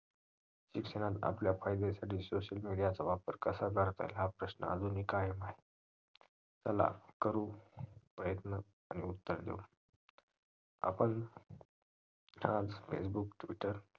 शिक्षणात आपल्या फायद्यासाठी social media चा वापर कसा करता येईल हा प्रश्न अजूनही कायम आहे चला करू प्रयत्न आणि उत्तर देऊ आपण आज facebook twitter